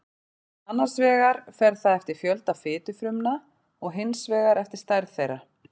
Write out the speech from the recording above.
annars vegar fer það eftir fjölda fitufrumna og hins vegar eftir stærð þeirra